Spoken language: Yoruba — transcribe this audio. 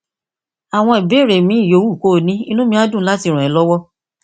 àwọn ìbéèrè míì yòówù kó o ní inú mi máa dùn láti ràn é lọwọ